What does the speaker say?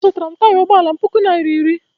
Azụtara m taya ụgbọala m puku naira iri